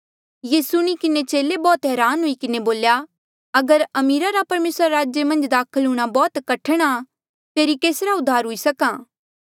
ये सुणी किन्हें चेले बौह्त हरान हुई किन्हें बोल्या अगर अमीरा रा परमेसरा रे राजा मन्झ दाखल हूंणां बौह्त कठण आ फेरी केसरा उद्धार हुई सक्हा